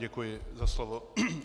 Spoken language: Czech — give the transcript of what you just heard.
Děkuji za slovo.